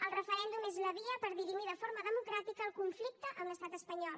el referèndum és la via per dirimir de forma democràtica el conflicte amb l’estat espanyol